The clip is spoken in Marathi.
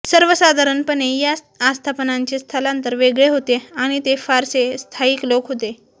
सर्वसाधारणपणे या आस्थापनांचे स्थलांतर वेगळे होते आणि ते फारसे स्थाईक लोक होते